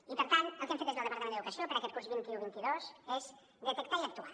i per tant el que hem fet des del departament d’educació per a aquest curs vint un vint dos és detectar i actuar